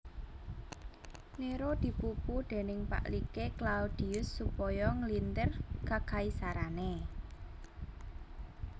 Néro dipupu déning pakliké Claudius supaya nglintir kakaisarané